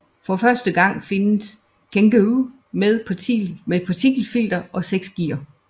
For første gang findes Kangoo med partikelfilter og seks gear